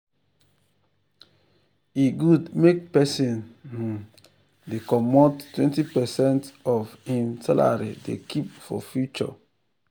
e good make persin um dey commot um 20 percent of um hin salary dey keep for future